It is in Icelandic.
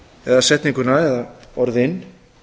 eða setninguna eða orðin